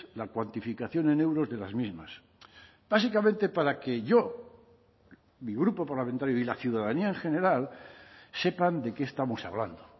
la cuantificación en euros de las mismas básicamente para que yo mi grupo parlamentario y la ciudadanía en general sepan de qué estamos hablando